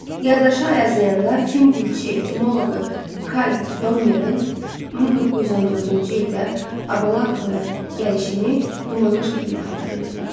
Yaddaşı Ayazıyanda fin dilçi-etimoloqu Kay Donnerin 1914-cü ildə Abalakovaya gəlişini dumanlı şəkildə xatırlayırdı.